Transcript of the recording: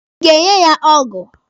Ị ga-enye ya ọgụ?